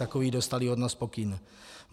Takový dostali od nás pokyn.